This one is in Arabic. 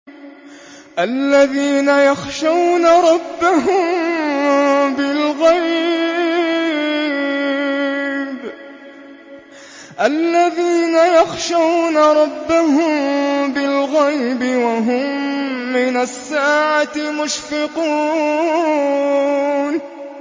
الَّذِينَ يَخْشَوْنَ رَبَّهُم بِالْغَيْبِ وَهُم مِّنَ السَّاعَةِ مُشْفِقُونَ